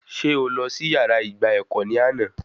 Sé o lọ sí yàrá ìgba ẹ̀kọ́ ní àná?